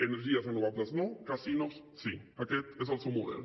energies renovables no casinos sí aquest és el seu model